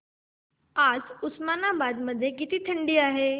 आज उस्मानाबाद मध्ये किती थंडी आहे